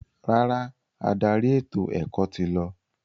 Rárá, adarí ètò-ẹ̀kọ́ ti lọ.